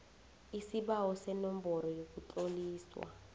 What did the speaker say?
isibawo senomboro yokutloliswa